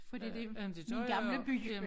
Fordi det min gamle by jo